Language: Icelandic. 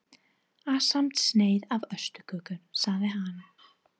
Ásamt sneið af ostaköku sagði hann.